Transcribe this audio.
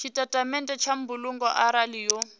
tshitatamennde tsha mbulungo arali yo